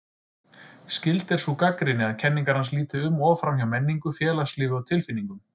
Skyld er sú gagnrýni að kenningar hans líti um of framhjá menningu, félagslífi og tilfinningum.